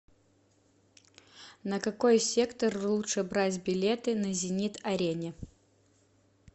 на какой сектор лучше брать билеты на зенит арене